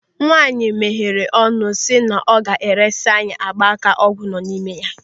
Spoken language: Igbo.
Nwaanyị meere ọnụ si na ọ ga-eresi anyị gba aka ọgwụ nọ n'ime ya.